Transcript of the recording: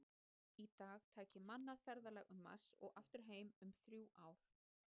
Í dag tæki mannað ferðalag til Mars og aftur heim um þrjú ár.